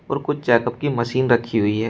और कुछ चेकअप की मशीन रखी हुई है।